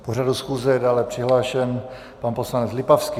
K pořadu schůze je dále přihlášen pan poslanec Lipavský.